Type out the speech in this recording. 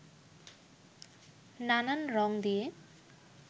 নানান রঙ দিয়ে